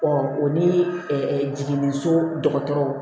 o ni jiginni so dɔgɔtɔrɔ